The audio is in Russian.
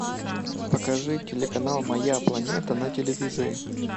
покажи телеканал моя планета на телевизоре